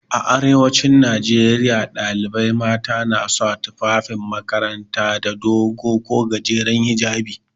A arewacin Najeriya ɗalibai mata na sa tufafin makaranta da dogo ko gajeren hijjabi.